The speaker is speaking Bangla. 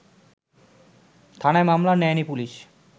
থানায় মামলা নেয়নি পুলিশ